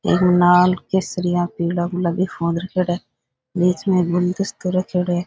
लाल केसरिया पिला गुलाबी फूल रखेड़ा है बीच में एक गुलदस्ता रखेड़ो है।